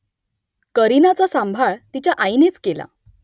करिनाचा सांभाळ तिच्या आईनेच केला